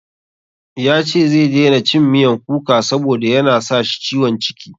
Ya ce zai daina cin miyan kuka saboda ya na sa shi ciwon ciki.